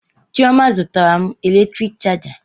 Chioma zụtara m eletrik chaja